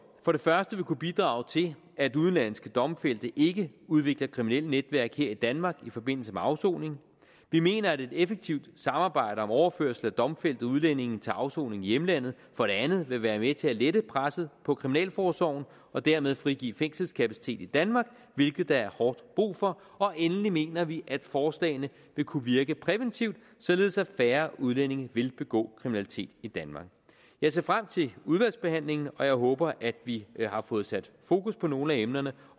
vil kunne bidrage til at udenlandske domfældte ikke udvikler kriminelle netværk her i danmark i forbindelse med afsoning vi mener at et effektivt samarbejde om overførelse af domfældte udlændinge til afsoning i hjemlandet for det andet vil være med til at lette presset på kriminalforsorgen og dermed frigive fængselskapacitet i danmark hvilket der er hårdt brug for endelig mener vi at forslagene vil kunne virke præventivt således at færre udlændinge vil begå kriminalitet i danmark jeg ser frem til udvalgsbehandlingen og jeg håber at vi har fået sat fokus på nogle af emnerne